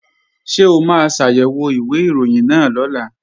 Ṣé o máa ṣàyẹ̀wò ìwé ìròyìn náà lọ́la?